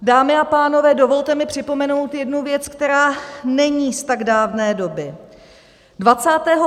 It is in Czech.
Dámy a pánové, dovolte mi připomenout jednu věc, která není z tak dávné doby.